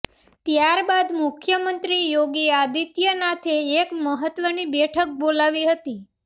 ત્યારબાદ મુખ્યમંત્રી યોગી આદિત્યનાથે એક મહત્ત્વની બેઠક બોલાવી હતી